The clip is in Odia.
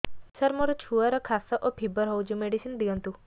ସାର ମୋର ଛୁଆର ଖାସ ଓ ଫିବର ହଉଚି ମେଡିସିନ ଦିଅନ୍ତୁ